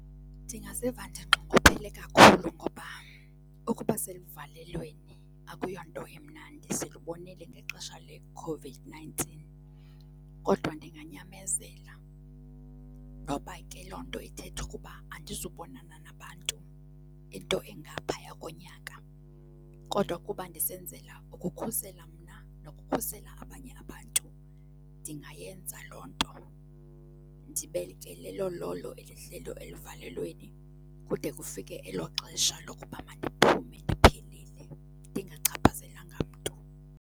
Ndingaziva ndinxunguphele kakhulu ngoba ukuba seluvalelweni akuyo nto imnandi. Silubonile ngexesha le-COVID-nineteen kodwa ndinganyamezela noba ke loo nto ithetha ukuba andizubonana nabantu into engaphaya konyaka. Kodwa kuba ndisebenzela ukukhusela mna nokukhusela abanye abantu, ndingayenza loo nto ndibe ke lelo lolo elihleli eluvalelweni kude kufike elo xesha lokuba mandiphume ndiphilile ndingachaphazelanga mntu.